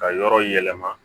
Ka yɔrɔ yɛlɛma